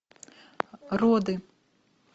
роды